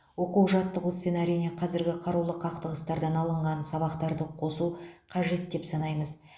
оқу жаттығу сценарийіне қазіргі қарулы қақтығыстардан алынған сабақтарды қосу қажет деп санаймыз